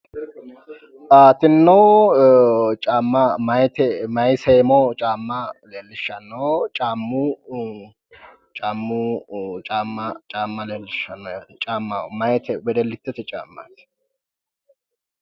Tinino caama mayi seemo caama leelishano wedellitete caamati